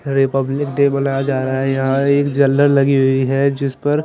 Republic day मनाया जा रहा है यहाँ एक जलर लगी हुई है जिस पर--